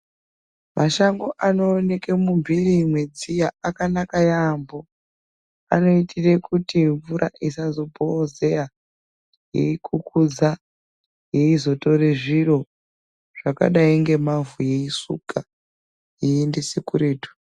Mashango anooneke mumphiri mwedziya akanaka yaampho. Anoitire kuti mvura isazobhoozeya, yeikhukhuza, yeizotore zviro zvakadaingemavhu, yeisuka, yeiendese kuretu.